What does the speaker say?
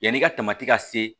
Yanni ka tamati ka se